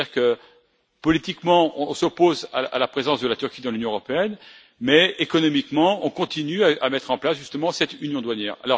C'est à dire que, politiquement, on s'oppose à la présence de la Turquie dans l'Union européenne mais, économiquement, on continue à mettre en place cette union douanière.